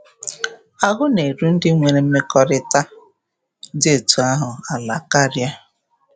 Ahụ na-eru ndị nwere mmekọrịta dị etu ahụ ala karịa.